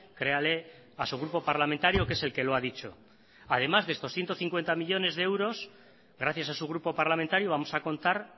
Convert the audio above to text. créale a su grupo parlamentario que es el que lo ha dicho y además de estos ciento cincuenta millónes de euros gracias a su grupo parlamentario vamos a contar